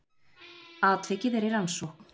Atvikið er í rannsókn